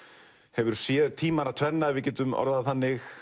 hefur séð tímana tvenna ef við getum orðað það þannig